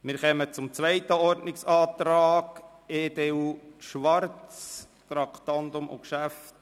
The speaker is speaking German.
Wir kommen zum zweiten Ordnungsantrag, EDU/Schwarz betreffend ein Traktandum.